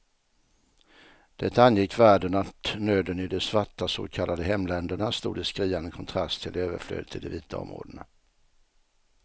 Det angick världen att nöden i de svarta så kallade hemländerna stod i skriande kontrast till överflödet i de vita områdena.